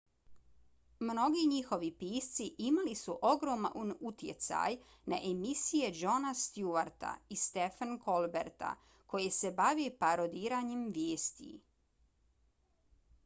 mnogi njihovi pisci imali su ogroman utjecaj na emisije jona stewarta i stephena colberta koje se bave parodiranjem vijesti